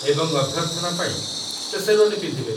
ଏବଂ ଅଭ୍ୟର୍ଥନା ପାଇଁ, ସେ ଶେର୍ୱାନୀ ପିନ୍ଧିବେ